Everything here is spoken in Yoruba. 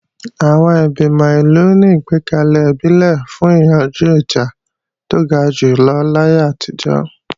Àwọn Ìgbìmọ̀ ìlú ni ìgbẹ́kalẹ̀ ìbílẹ̀ fún yíyanjú ìjà tó ga jùlọ láyé àtijọ́